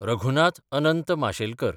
Raghunath Anant Mashelkar